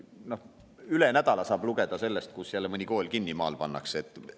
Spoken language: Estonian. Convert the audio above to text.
No üle nädala saab lugeda sellest, kus jälle mõni maakool kinni pannakse.